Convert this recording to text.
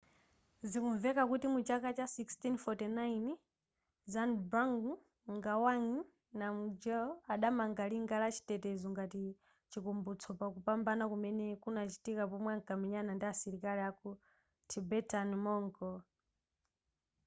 zikumveka kuti muchaka cha 1649 zhabdrung ngawang namgyel adamanga linga la chitetezo ngati chikumbutso pakupambana kumene kunachitika pomwe ankamenyana ndi asilikali aku tibetan-mongol